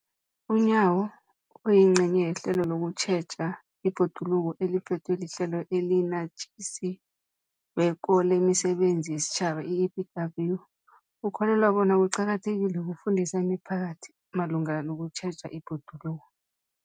UNyawo, oyingcenye yehlelo lokutjheja ibhoduluko eliphethwe liHlelo eliNatjisi weko lemiSebenzi yesiTjhaba, i-EPWP, ukholelwa bona kuqakathekile ukufundisa imiphakathi malungana nokutjheja ibhoduluko.